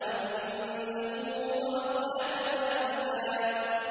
وَأَنَّهُ هُوَ أَضْحَكَ وَأَبْكَىٰ